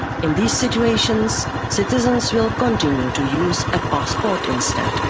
In these situations citizens will continue to use a passport instead.